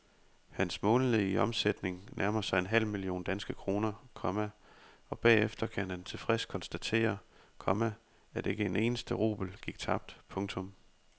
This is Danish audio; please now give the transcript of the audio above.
Hans månedlige omsætning nærmer sig en halv million danske kroner, komma og bagefter kan han tilfreds konstatere, komma at ikke en eneste rubel gik tabt. punktum